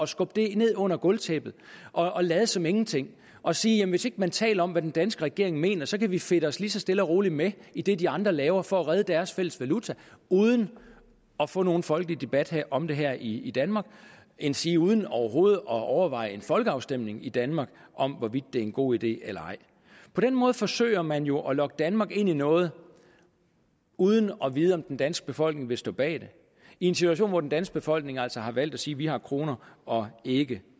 skubbe det ind under gulvtæppet og lade som ingenting og sige at hvis ikke man taler om hvad den danske regering mener så kan vi fedte os lige så stille og roligt med i det de andre laver for at redde deres fælles valuta uden at få nogen folkelig debat om det her i i danmark endsige uden overhovedet at overveje en folkeafstemning i danmark om hvorvidt det er en god idé eller ej på den måde forsøger man jo at lokke danmark ind i noget uden at vide om den danske befolkning vil stå bag det i en situation hvor den danske befolkning altså har valgt at sige at vi har kronen og ikke